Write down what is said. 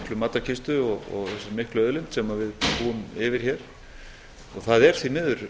þessari miklu matarkistu og þessari miklu auðlind sem við búum yfir hér og það er því miður